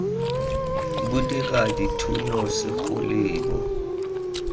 bo dira dithuno segolo bo